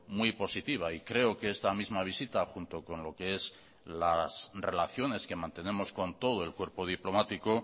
muy positiva y creo que esta misma visita junto con lo que es las relaciones que mantenemos con todo el cuerpo diplomático